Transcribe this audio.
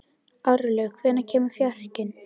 Árlaug, hvenær kemur fjarkinn?